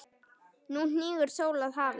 Nú hnígur sól að hafi.